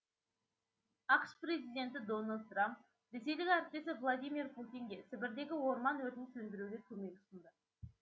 ақш президенті дональд трамп ресейлік әріптесі владимир путинге сібірдегі орман өртін сөндіруге көмек ұсынды